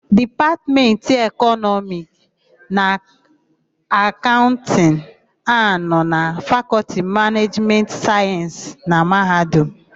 Dipatmentị Ekọnọmiki na Akaụntịnụ na-anọ na lFakọlti Manejimentị Sayensị na Mahadum.